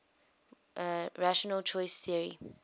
rational choice theory